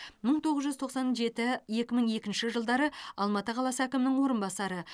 мың тоғыз жүз тоқсан жеті екі мың екінші жылдары алматы қаласы әкімінің орынбасары